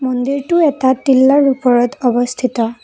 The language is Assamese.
মন্দিৰটো এটা তিল্লাৰ ওপৰত অৱস্থিত।